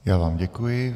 Já vám děkuji.